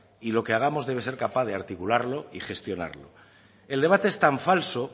y lo que hagamos debe ser capaz de articularlo y gestionarlo el debate es tan falso